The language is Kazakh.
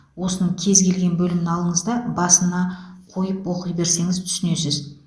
осының кез келген бөлімін алыңыз да басына қойып оқи берсеңіз түсінесіз